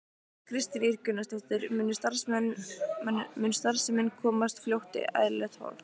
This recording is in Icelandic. Kristín Ýr Gunnarsdóttir: Mun starfsemin komast fljótt í eðlilegt horf?